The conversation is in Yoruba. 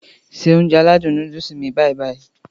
Se Ounjẹ aládùn nóódùsì mi báyì-báyì